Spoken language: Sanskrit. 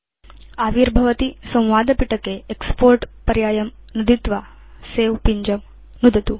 आविर्भवति संवादपिटके एक्स्पोर्ट् पर्यायं नुदित्वा सवे पिञ्जं नुदतु